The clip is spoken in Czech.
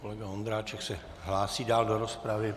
Kolega Ondráček se hlásí dál do rozpravy.